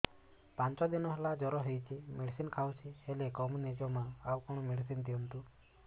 ପାଞ୍ଚ ଦିନ ହେଲା ଜର ହଉଛି ମେଡିସିନ ଖାଇଛି ହେଲେ କମୁନି ଜମା ଆଉ କଣ ମେଡ଼ିସିନ ଦିଅନ୍ତୁ